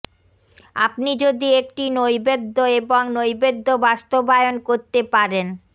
আপনি যদি একটি নৈবেদ্য এবং নৈবেদ্য বাস্তবায়ন করতে পারেন